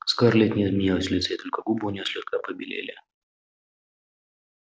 скарлетт не изменилась в лице и только губы у неё слегка побелели